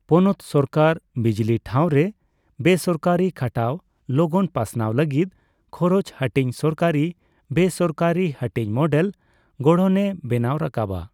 ᱯᱚᱱᱚᱛ ᱥᱚᱨᱠᱟᱨ ᱵᱤᱡᱞᱤ ᱴᱷᱟᱣᱨᱮ ᱵᱮᱥᱚᱨᱠᱟᱨᱤ ᱠᱷᱟᱴᱟᱣ ᱞᱚᱜᱚᱱ ᱯᱟᱥᱱᱟᱣ ᱞᱟᱹᱜᱤᱫ ᱠᱷᱚᱨᱚᱪᱼ ᱦᱟᱹᱴᱤᱧ ᱥᱚᱨᱠᱟᱨᱤ ᱵᱮᱥᱚᱨᱠᱟᱨᱤ ᱦᱟᱹᱴᱤᱧ ᱢᱚᱰᱮᱞ ᱜᱚᱲᱦᱚᱱᱮ ᱵᱮᱱᱟᱣ ᱨᱟᱠᱟᱵ ᱟ᱾